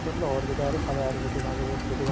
পিছত লগত কিটাই আৰু চালে আৰু এইটো ললে ভাল হʼব সেইটো